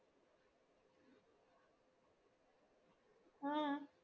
ആഹ്